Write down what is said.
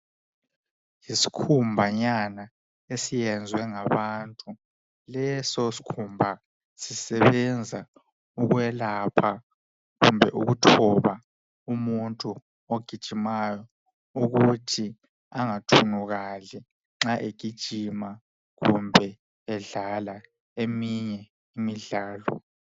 Iskhumba nyana esenzwe ngabantu lesoskhumba sisebenza ukwelapha kumbe ukuthoba umuntu ogijimayo ukuthi angathunukali nxa egijima kumbe edlala eminye imidlalo